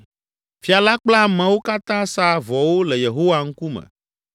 Fia la kple ameawo katã sa vɔwo le Yehowa ŋkume